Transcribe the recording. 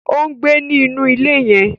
O ngbé ni inú ilé yen